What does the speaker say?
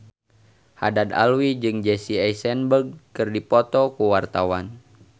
Haddad Alwi jeung Jesse Eisenberg keur dipoto ku wartawan